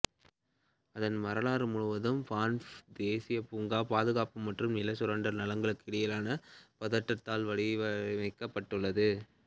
அதன் வரலாறு முழுவதும் பான்ஃப் தேசிய பூங்கா பாதுகாப்பு மற்றும் நில சுரண்டல் நலன்களுக்கு இடையிலான பதட்டத்தால் வடிவமைக்கப்பட்டுள்ளது